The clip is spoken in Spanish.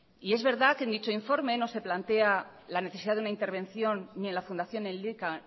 y es verdad que en dicho informe no se plantea la necesidad de una intervención ni en la fundación elika